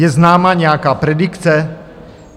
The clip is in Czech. Je známa nějaká predikce?